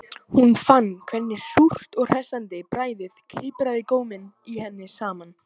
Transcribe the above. Hún fann hvernig súrt og hressandi bragðið kipraði góminn í henni saman